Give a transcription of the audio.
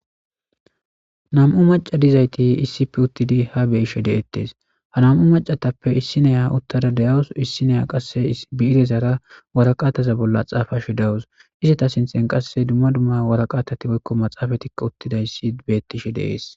Na'mu maca nayiti utidi ha be'ishe detes ha na'mu maca nayitape issya utada de'awus issya qase bi'irezara wariqataza bolla xapashe de'awus eta sinithan qase duma duma maxapetinee dawutareti utidayis betes